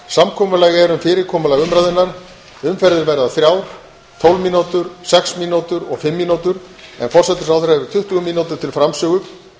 samkomulag er um fyrirkomulag umræðunnar umferðir verða þrjár tólf mínútur sex mínútur og fimm mínútur en forsætisráðherra hefur tuttugu mínútur til framsögu